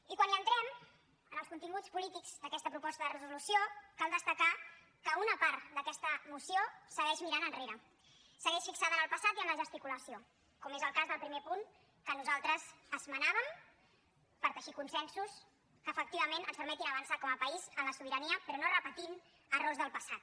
i quan hi entrem en els continguts polítics d’aquesta proposta de resolució cal destacar que una part d’aquesta moció segueix mirant enrere segueix fixada en el passat i en la gesticulació com és el cas del primer punt que nosaltres esmenàvem per teixir consensos que efectivament ens permetin avançar com a país en la sobirania però no repetint errors del passat